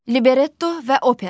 Libretto və opera.